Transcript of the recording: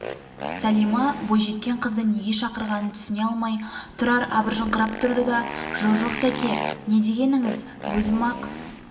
сәлима бойжеткен қызды неге шақырғанын түсіне алмай тұрар абыржыңқырап тұрды да жо-жоқ сәке не дегеніңіз өзім-ақ